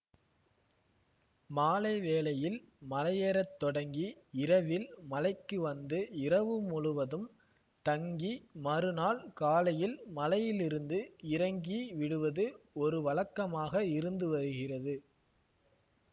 மாலை வேளையில் மலையேறத்தொடங்கி இரவில் மலைக்கு வந்து இரவு முழுவதும் தங்கி மறுநாள் காலையில் மலையிலிருந்து இறங்கி விடுவது ஒரு வழக்கமாக இருந்துவருகிறது